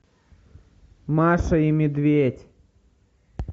маша и медведь